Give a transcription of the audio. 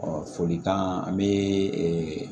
folikan an bɛ